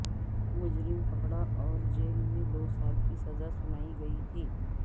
مجرم پکڑا اور جیل میں دو سال کی سزا سنائی گئی تھی